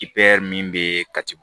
min bɛ katibugu